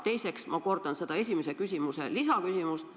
Teiseks kordan ma seda esimese küsimuse lisaküsimust.